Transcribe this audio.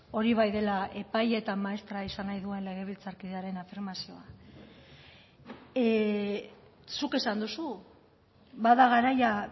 hori bai dela epai eta maestra izan nahi duen legebiltzarkidearen afirmazioa zuk esan duzu ba da garaia